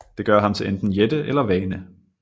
Det gør ham til enten jætte eller vane